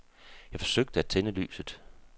Jeg forsøgte at tænde lyset.